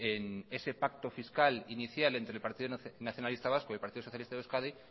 en ese pacto fiscal inicial entre el partido nacionalista vasco y el partido socialista de euskadi